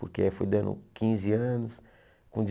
Porque aí foi dando quinze anos, com